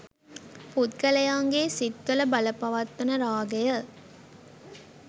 පුද්ගලයන්ගේ සිත්වල බලපවත්වන රාගය,